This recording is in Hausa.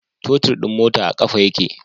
Totir din mota a kafa yake